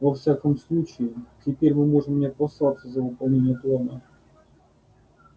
во всяком случае теперь мы можем не опасаться за выполнение плана